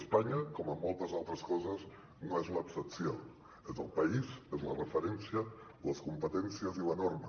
espanya com en moltes altres coses no és l’excepció és el país és la referència les competències i la norma